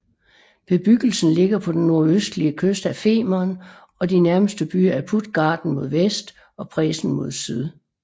Bebyggelsen ligger på den nordøstlige kyst af Femern og de nærmeste byer er Puttgarden mod vest og Presen mod syd